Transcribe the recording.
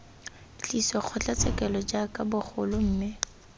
tliswa kgotlatshekelo jaaka bagolo mme